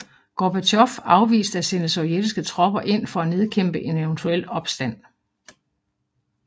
Gorbatjov afviste at sende sovjetiske tropper ind for at nedkæmpe en eventuel opstand